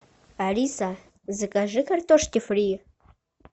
алиса закажи картошки фри